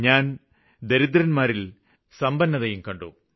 ഞാന് ദരിദ്രന്മാരില് ദാരിദ്ര്യമില്ലായ്മയും കണ്ടു